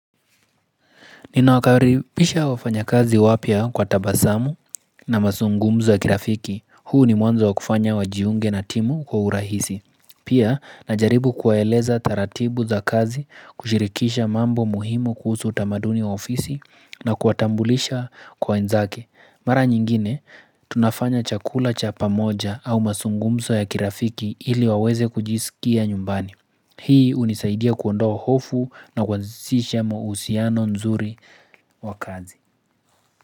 Nina wakaribisha wafanya kazi wapya kwa tabasamu na masungumzo ya kirafiki, huu ni mwanzo wakufanya wajiunge na timu kwa urahisi. Pia, najaribu kuwaeleza taratibu za kazi, kushirikisha mambo muhimu kuhusu utamaduni wa ofisi na kuwatambulisha kwa wenzake. Mara nyingine, tunafanya chakula cha pamoja au masungumso ya kirafiki ili waweze kujisikia nyumbani. Hii unisaidia kuondoa hofu na kwanzisha mausiano nzuri wa kazi.